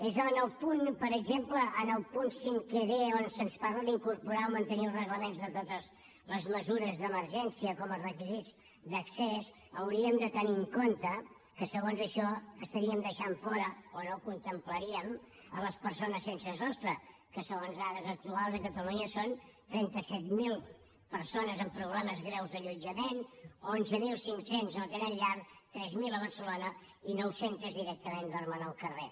és en el punt per exemple cinquè d on se’ns parla d’incorporar o mantenir els reglaments de totes les meses d’emergència com a requisits d’accés hauríem de tenir en compte que segons això deixaríem fora o no contemplaríem les persones sense sostre que segons dades actuals a catalunya són trenta set mil persones amb problemes greus d’allotjament onze mil cinc cents no tenen llar tres mil a barcelona i nou cents directament dormen al carrer